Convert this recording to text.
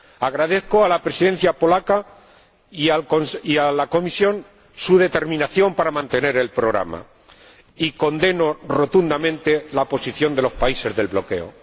Agradezco a la Presidencia polaca y a la Comisión su determinación para mantener el programa, y condeno rotundamente la posición de los países del bloqueo.